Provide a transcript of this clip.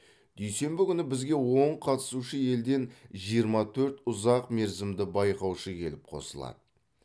дүйсенбі күні бізге он қатысушы елден жиырма төрт ұзақ мерзімді байқаушы келіп қосылады